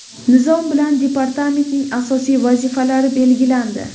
Nizom bilan departamentning asosiy vazifalari belgilandi.